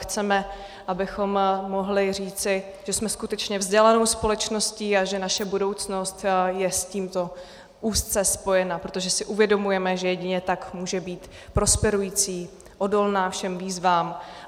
Chceme, abychom mohli říci, že jsme skutečně vzdělanou společností a že naše budoucnost je s tímto úzce spojena, protože si uvědomujeme, že jedině tak může být prosperující, odolná všem výzvám.